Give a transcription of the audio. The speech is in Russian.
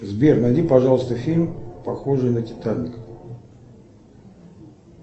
сбер найди пожалуйста фильм похожий на титаник